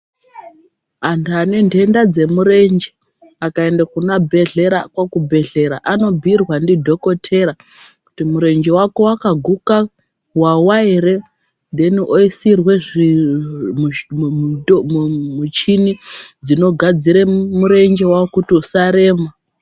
Antu ane nhenha dzemurenje akaenda kuchibhedhlera anobhuirwa ndidhokotera kiti murenje wako wakaguka, wawa ere oisirwa michini dzinogadzira murenje kuti usarema.